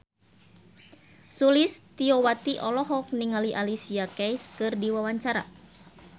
Sulistyowati olohok ningali Alicia Keys keur diwawancara